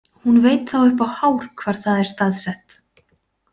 Hún veit þá upp á hár hvar það er staðsett.